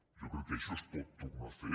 jo crec que això es pot tornar a fer